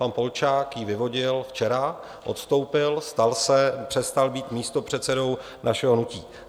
Pan Polčák ji vyvodil včera, odstoupil, přestal být místopředsedou našeho hnutí.